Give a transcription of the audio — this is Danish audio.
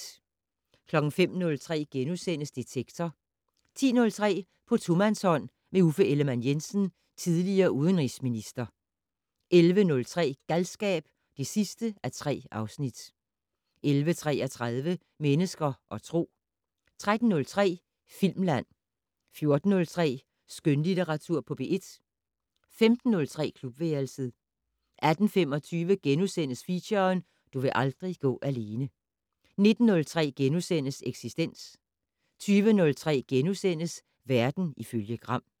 05:03: Detektor * 10:03: På tomandshånd med Uffe Ellemann-Jensen, tidl. udenrigsminister 11:03: Galskab (3:3) 11:33: Mennesker og Tro 13:03: Filmland 14:03: Skønlitteratur på P1 15:03: Klubværelset 18:25: Feature: Du vil aldrig gå alene * 19:03: Eksistens * 20:03: Verden ifølge Gram *